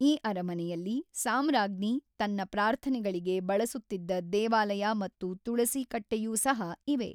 ಈ ಅರಮನೆಯಲ್ಲಿ ಸಾಮ್ರಾಜ್ಞಿ ತನ್ನ ಪ್ರಾರ್ಥನೆಗಳಿಗೆ ಬಳಸುತ್ತಿದ್ದ ದೇವಾಲಯ ಮತ್ತು ತುಳಸಿ ಕಟ್ಟೆಯೂ ಸಹ ಇವೆ.